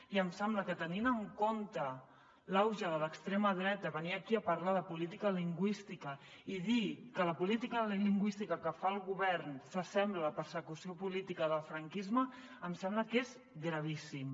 i em sembla que tenint en compte l’auge de l’extrema dreta venir aquí a parlar de política lingüística i dir que la política lingüística que fa el govern s’assembla a la persecució política del franquisme em sembla que és gravíssim